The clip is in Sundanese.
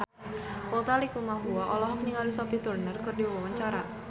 Utha Likumahua olohok ningali Sophie Turner keur diwawancara